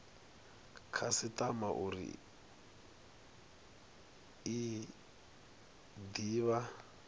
khasitama uri i de vha